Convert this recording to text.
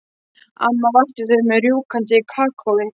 Amma vakti þau með rjúkandi kakói.